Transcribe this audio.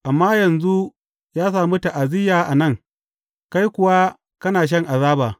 Amma yanzu ya sami ta’aziyya a nan, kai kuwa kana shan azaba.